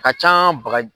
A ka can ba